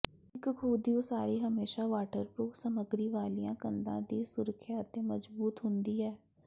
ਇੱਕ ਖੂਹ ਦੀ ਉਸਾਰੀ ਹਮੇਸ਼ਾ ਵਾਟਰਪ੍ਰੂਫ ਸਾਮੱਗਰੀ ਵਾਲੀਆਂ ਕੰਧਾਂ ਦੀ ਸੁਰੱਖਿਆ ਅਤੇ ਮਜ਼ਬੂਤ ਹੁੰਦੀ ਹੈ